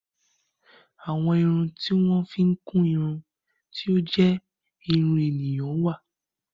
Àwọn irun tí wọ́n fi ń kún irun tí ó jẹ́ irun ènìyàn wà.